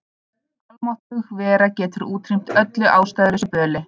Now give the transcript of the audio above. Almáttug vera getur útrýmt öllu ástæðulausu böli.